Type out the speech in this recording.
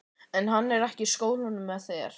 Er hann ekki í skólanum með þér?